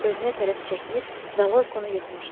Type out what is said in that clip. özünə tərəf çəkmiş və Loykonu yıxmışdı.